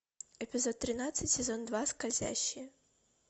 эпизод тринадцать сезон два скользящие